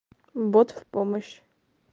бот в помощь